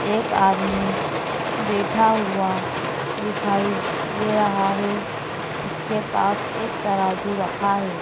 एक आदमी बैठा हुआ दिखाई दे रहा है इसके पास एक तराजू रखा हैं।